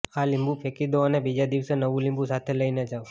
આ લીંબુ ફેંકી દો અને બીજા દિવસે નવુ લીંબુ સાથે લઈને જાવ